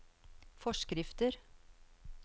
forskrifter